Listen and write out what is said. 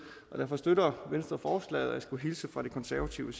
derfor støtter venstre og jeg skulle hilse fra de konservative